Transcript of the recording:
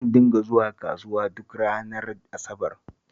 Zan dinga zuwa kasuwa duk ranar Asabar